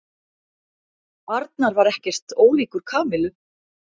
Arnar var ekkert ólíkur Kamillu.